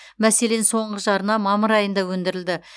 мәселен соңғы жарна мамыр айында өндірілді